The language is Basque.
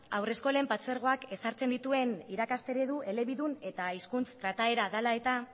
haurreskolen partzuergoak ezartzen dituen irakas eredu elebidun eta hizkuntz trataera dela eta